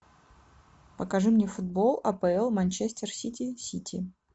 покажи мне футбол апл манчестер сити сити